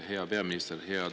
Hea peaminister!